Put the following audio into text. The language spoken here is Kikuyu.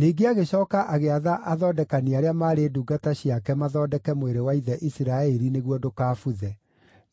Ningĩ agĩcooka agĩatha athondekani arĩa maarĩ ndungata ciake mathondeke mwĩrĩ wa ithe Isiraeli nĩguo ndũkabuthe.